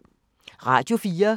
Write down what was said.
Radio 4